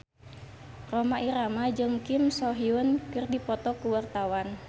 Rhoma Irama jeung Kim So Hyun keur dipoto ku wartawan